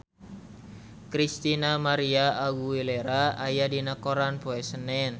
Christina María Aguilera aya dina koran poe Senen